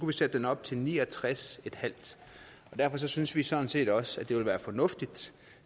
vi sætte den op til ni og tres en halv derfor synes vi sådan set også at det ville være fornuftigt